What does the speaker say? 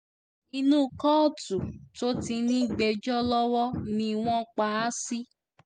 inú kóòtù tó ti ń gbẹ́jọ́ lọ́wọ́ ni wọ́n pa á sí